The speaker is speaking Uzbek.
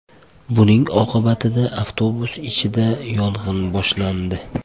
Buning oqibatida avtobus ichida yong‘in boshlandi.